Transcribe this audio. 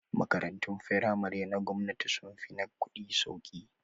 Makarantun firamare na gwamnati sun fi na kuɗi sauki